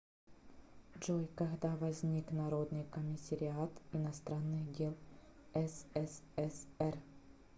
джой когда возник народный комиссариат иностранных дел ссср